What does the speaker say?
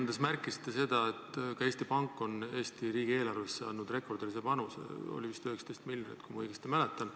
Te märkisite oma ettekandes, et ka Eesti Pank on Eesti riigi eelarvesse andnud rekordilise panuse – see oli vist 19 miljonit, kui ma õigesti mäletan.